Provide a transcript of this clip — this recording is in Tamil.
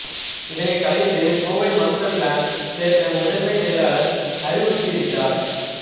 இதனை கலைத்து கோவை மாஸ்டர் பிளான் சேர்க்க முதன்மை செயலர் அறிவுறுத்தியிருக்கிறார்